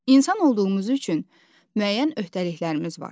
İnsan olduğumuz üçün müəyyən öhdəliklərimiz var.